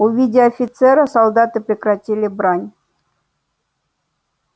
увидя офицера солдаты прекратили брань